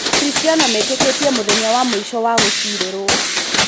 Akristiano metĩkĩtie mũthenya wa mũico wa gũcirĩrwo.